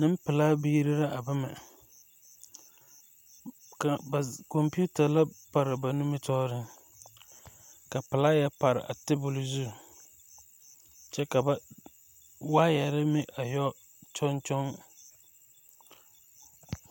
Nempelaa biiri la a ba ma kaŋ ba kɔmpiita la pare a ba nimitɔɔreŋ ka pilaaya pare table zu kyɛ ka ba waayɛre meŋ a yɔ kyɔŋ kyɔŋ.